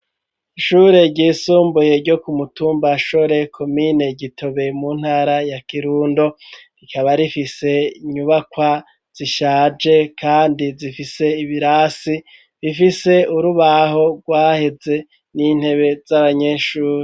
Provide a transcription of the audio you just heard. Ishure ryisumbuye ryo ku mutumba Shore komine Gitobe mu ntara ya kirundo rikaba rifise inyubakwa zishaje kandi zifise ibirasi bifise urubaho rwaheze n'intebe z'abanyeshuri.